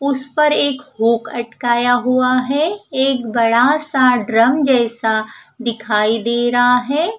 उस पर एक हुक अटकाया हुआ है एक बड़ा सा ड्रम जैसा दिखाई दे रहा है।